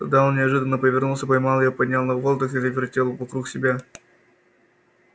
тогда он неожиданно повернулся поймал её поднял на воздух и завертел вокруг себя